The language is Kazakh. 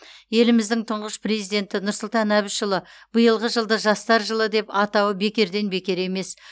еліміздің тұңғыш президенті нұрсұлтан әбішұлы биылғы жылды жастар жылы деп атауы бекерден бекер емес